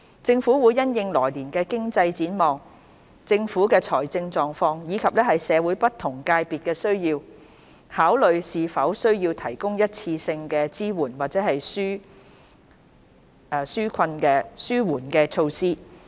政府會因應來年的經濟展望、政府的財政狀況，以及社會不同界別的需要，考慮是否需要提供一次性的支援或紓緩措施。